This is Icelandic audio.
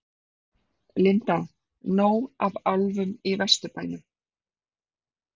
Linda: Nóg af álfum í Vesturbænum?